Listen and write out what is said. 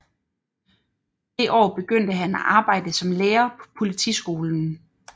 Det år begyndte han at arbejde som lærer på politiskolen